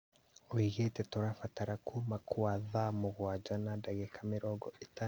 Oigĩte"Tũrabatara kuma kwa tha mũgwanja na ndagĩka mĩrongo ĩtano na ithano na nĩnarabatara meharĩria maritũ mũno